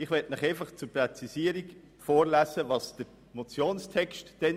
Ich lese Ihnen nun den seinerzeitigen Motionstext vor: